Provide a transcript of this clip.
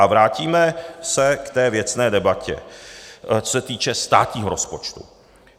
A vrátíme se k té věcné debatě, co se týče státního rozpočtu.